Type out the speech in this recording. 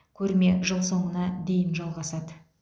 көрме жыл соңына дейін жалғасады